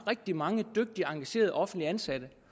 rigtig mange dygtige engagerede offentligt ansatte